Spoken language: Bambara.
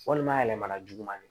Walima a yɛlɛmana juguman de ye